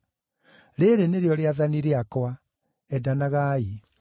Rĩĩrĩ nĩrĩo rĩathani rĩakwa: Endanagai.